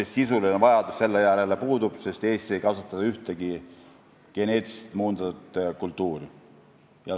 Sisuline vajadus selle järele puudub, sest Eestis ei kasvatata ühtegi geneetiliselt muundatud kultuuri.